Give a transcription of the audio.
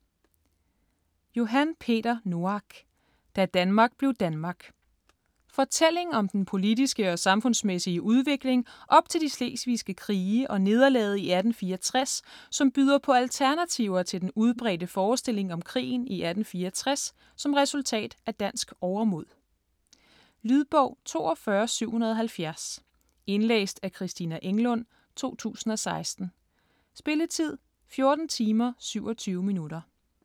Noack, Johan Peter: Da Danmark blev Danmark Fortælling om den politiske og samfundsmæssige udvikling op til de slesvigske krige og nederlaget i 1864 som byder på alternativer til den udbredte forestilling om krigen i 1864 som resultat af dansk overmod. Lydbog 42770 Indlæst af Christina Englund, 2016. Spilletid: 14 timer, 27 minutter.